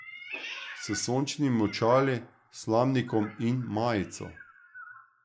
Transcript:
S sončnimi očali, slamnikom in majico.